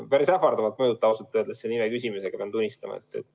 Päris ähvardavalt mõjute ausalt öeldes selle nime küsimisega, pean tunnistama.